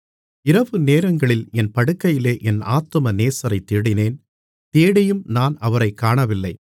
இரவுநேரங்களில் என் படுக்கையிலே என் ஆத்தும நேசரைத் தேடினேன் தேடியும் நான் அவரைக் காணவில்லை